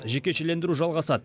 жекешелендіру жалғасады